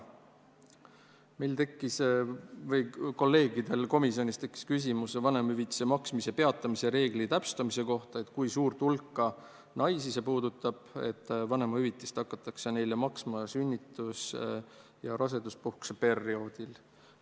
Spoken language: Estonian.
Minu kolleegidel komisjonis tekkis küsimus ka vanemahüvitise maksmise peatamise reegli täpsustamise kohta: kui suurt hulka naisi see puudutab, et vanemahüvitist hakatakse neile maksma sünnitus- ja raseduspuhkuse perioodil.